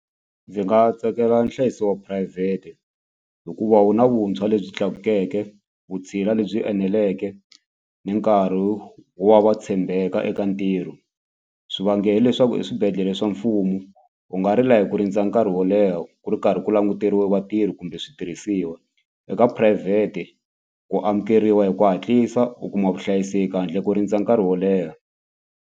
Ndzi nga tsakela nhlayiso wa phurayivhete hikuva wu na vuntshwa lebyi tlakukeke, vutshila lebyi eneleke ni nkarhi wa va tshembeka eka ntirho hileswaku eswibedhlele swa mfumo u nga rila hi ku rindza nkarhi wo leha ku ri karhi ku languteriwe vatirhi kumbe switirhisiwa eka phurayivhete ku amukeriwa hi ku hatlisa u kuma vuhlayiseki handle ko rindza nkarhi wo leha.